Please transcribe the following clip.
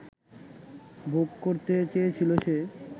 ভোগ করতে চেয়েছিল সে